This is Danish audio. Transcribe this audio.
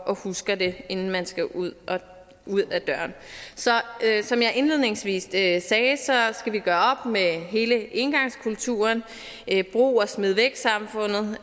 og husker den inden man skal ud af døren som jeg indledningsvis sagde skal vi gøre op med hele engangskulturen brug og smid væk samfundet